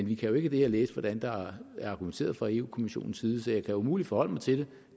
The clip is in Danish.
vi kan jo ikke af det her læse hvordan der er argumenteret fra europa kommissionens side så jeg kan umuligt forholde mig til det